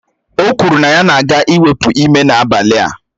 O kwuru na ya na-aga iwepu ime n'abalị a